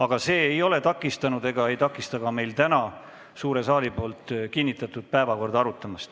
Aga see ei ole takistanud siis ega takista ka täna suure saali kinnitatud päevakorda arutamast.